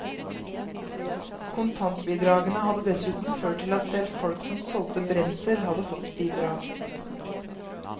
Kontantbidragene hadde dessuten ført til at selv folk som solgte brensel, hadde fått bidrag.